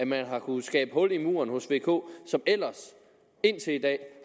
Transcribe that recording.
man har kunnet skabe hul i muren hos vk som ellers indtil i dag